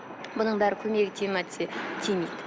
мұның бәрі көмегі тиеді ме десе тимейді